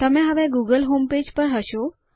તમે હવે Google homepage પર હશો